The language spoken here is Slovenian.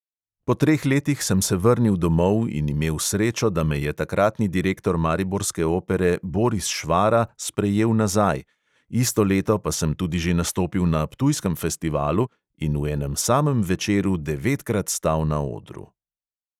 Po treh letih sem se vrnil domov in imel srečo, da me je takratni direktor mariborske opere boris švara sprejel nazaj, isto leto pa sem tudi že nastopil na ptujskem festivalu in v enem samem večeru devetkrat stal na odru.